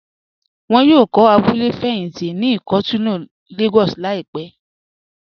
Wọ́n yóò kọ̀ abúlẹ̀ fẹyíntí ní Ikọ́tun Lagos laípè.